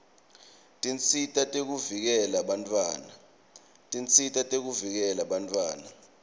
tinsita tekuvikela bantfwana